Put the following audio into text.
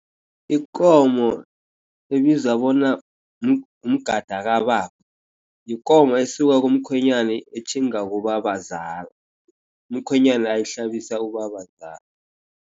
Ikomo ebizwa bona umgada kababa, yikomo esuka kamkhwenyani etjhinga ngubabazala. Umkhwenyana uyihlabisa ubabazala.